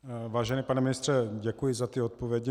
Vážený pane ministře, děkuji za ty odpovědi.